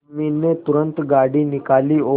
उर्मी ने तुरंत गाड़ी निकाली और